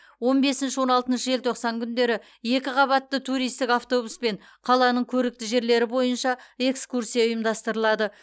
он бесінші он алтыншы желтоқсан күндері екіқабатты туристік автобуспен қаланың көрікті жерлері бойынша экскурсия ұйымдастырылады